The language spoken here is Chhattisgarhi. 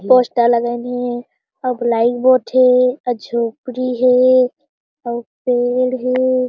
पोस्टर लगइन हे अब बलाई बोर्ड हे अउ झोपड़ी हे अउ पेड़ हे।